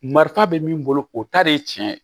Marifa bɛ min bolo o ta de ye tiɲɛ ye